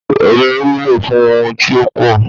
Omí wúlò fún ohun tí ó pò